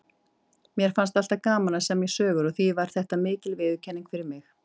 Mér fannst alltaf gaman að semja sögur og því var þetta mikil viðurkenning fyrir mig.